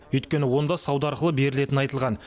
өйткені онда сауда арқылы берілетіні айтылған